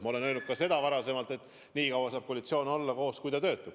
Ma olen öelnud ka seda, et nii kaua saab koalitsioon koos olla, kui ta töötab.